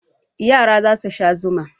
Yara za su sha zuma.